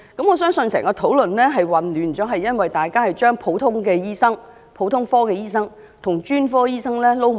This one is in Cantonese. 我相信引起討論混亂的原因是，是大家將普通科的醫生與專科醫生混淆。